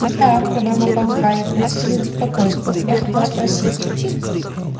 да пробормотал гарри простите за беспокойство я хотел спросить